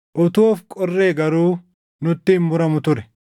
Utuu of qorree garuu nutti hin muramu ture.